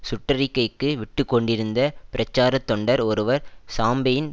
சுட்டறிக்கைக்கு விட்டுக்கொண்டிருந்த பிரச்சார தொண்டர் ஒருவர் சாம்பெயின்